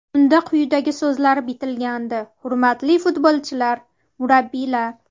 Unda quyidagi so‘zlar bitilgandi: Hurmatli futbolchilar, murabbiylar!